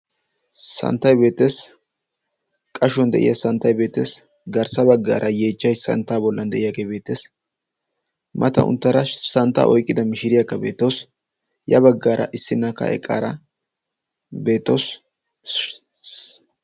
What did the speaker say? Santtay beettees qashuwan de'iya santtay beettees. garssa baggaara yeechchay santta bollan de'iyaagee beettees. mata unttara santta oyqqida mishiriyaaka beetoos ya baggaara issinna ka'e qaara beettawus.